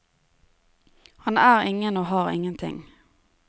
Han er ingen og har ingenting.